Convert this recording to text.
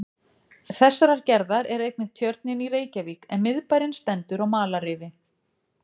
Þessarar gerðar er einnig Tjörnin í Reykjavík, en miðbærinn stendur á malarrifi.